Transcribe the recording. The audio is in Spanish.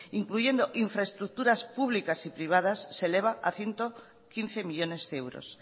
incluyendo infraestructuras públicas y privadas se eleva a ciento quince millónes de euros